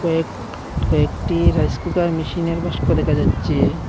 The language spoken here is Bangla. কয়েক কয়েকটি রাইস কুকার মেশিনের বাস্কো দেখা যাচ্ছে।